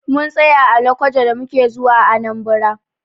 Mun tsaya a lokoja da muke zuwa Anambra.